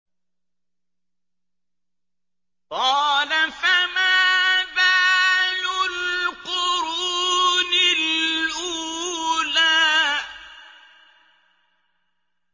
قَالَ فَمَا بَالُ الْقُرُونِ الْأُولَىٰ